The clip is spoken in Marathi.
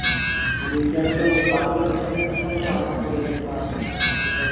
आणि india न त बाकीच्या देशानले पन सर्व सामान पुरवलं mask, sanitizer